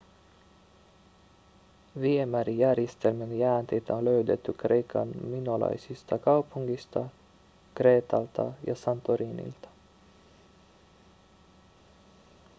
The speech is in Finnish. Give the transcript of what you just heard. viemärijärjestelmien jäänteitä on löydetty kreikan minolaisista kaupungeista kreetalta ja santorinilta